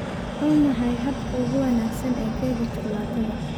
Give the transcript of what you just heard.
Waa maxay habka ugu wanaagsan ee keega shukulaatada?